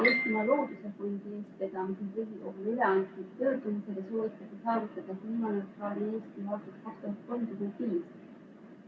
Eestimaa Looduse Fondi eestvedamisel Riigikogule üleantud pöördumises soovitakse saavutada kliimaneutraalne Eesti aastaks 2035.